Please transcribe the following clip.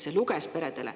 See luges peredele.